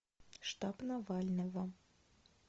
штаб навального